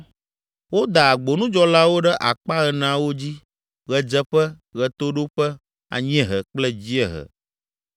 Woda agbonudzɔlawo ɖe akpa eneawo dzi: ɣedzeƒe, ɣetoɖoƒe, anyiehe kple dziehe.